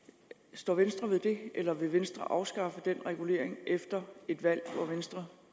står venstre ved det eller vil venstre afskaffe den regulering efter et valg hvor venstre